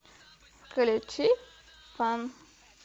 включи фан